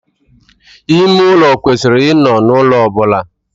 Ime ulo kwesiri I no n'ulo obula.